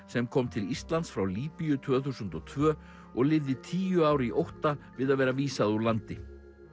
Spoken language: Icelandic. sem kom til Íslands frá Líbíu tvö þúsund og tvö og lifði í tíu ár í ótta við að verða vísað úr landi